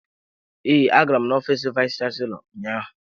Ee, agara m ofiisi vayis chansilọ ụnyaahụ.